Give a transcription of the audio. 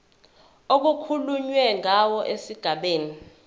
okukhulunywe ngawo esigabeni